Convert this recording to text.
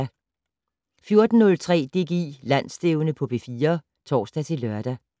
14:03: DGI Landsstævne på P4 (tor-lør)